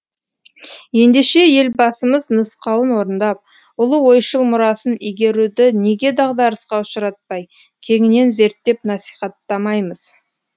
ендеше елбасымыз нұсқауын орындап ұлы ойшыл мұрасын игеруді неге дағдарысқа ұшыратпай кеңінен зерттеп насихаттамаймыз